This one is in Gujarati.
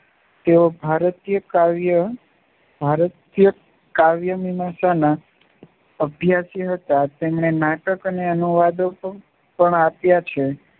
તેઓ ભારતીય કાવ્ય ભારતીય કાવ્ય મીમાંસાના અભ્યાસી હતા. તેમણે નાટક અને અનુવાદો પણ આપ્યા છે.